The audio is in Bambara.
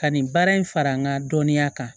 Ka nin baara in fara n ka dɔnniya kan